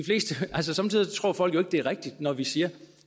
altså somme tider tror folk jo det er rigtigt når vi siger at